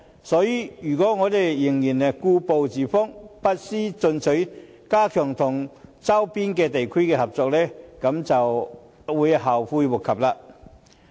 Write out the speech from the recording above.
所以，如果我們仍然故步自封，不思進取，加強與周邊地區的合作，便會後悔莫及。